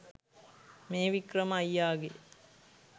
මේ වික්‍රම අයියාගේ